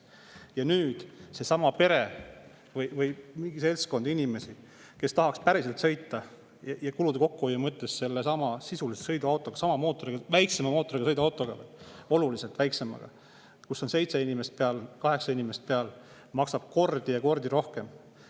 Ja nüüd seesama pere või seltskond inimesi, kes tahaks kulude kokkuhoiu mõttes sõita sisuliselt oluliselt väiksema mootoriga sõiduautoga, kuhu seitse, kaheksa inimest peale, siis see maksab kordi ja kordi rohkem.